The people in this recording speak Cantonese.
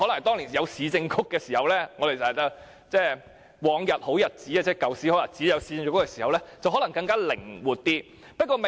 當年有市政局時——即我們常提及的過往好日子——年宵市場由市政局負責，做法可能更靈活而已。